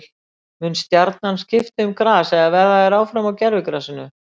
Mun Stjarnan skipta um gras eða verða þeir áfram á gervigrasinu?